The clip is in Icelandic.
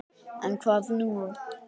En, hvað nú?